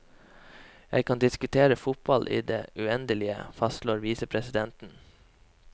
Jeg kan diskutere fotball i det uendelige, fastslår visepresidenten.